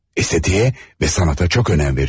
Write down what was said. İstədiyə və sənətə çox önəm veriyordu.